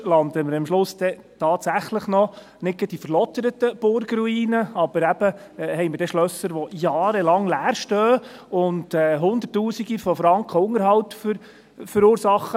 Sonst landen wir am Schluss tatsächlich noch in nicht gleich verlotterten Burgruinen, aber eben, wir haben dann Schlösser, die jahrelang leer stehen und Hunderttausende von Franken Unterhalt verursachen.